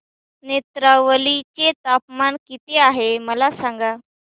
नेत्रावळी चे तापमान किती आहे मला सांगा